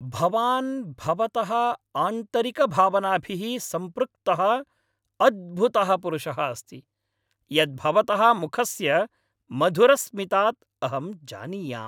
भवान् भवतः आन्तरिकभावनाभिः सम्पृक्तः अद्भुतः पुरुषः अस्ति, यत् भवतः मुखस्य मधुरस्मितात् अहं जानीयाम्।